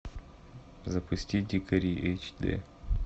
запусти дикари эйч ди